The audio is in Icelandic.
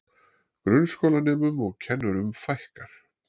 Grunnskólanemum og kennurum fækkar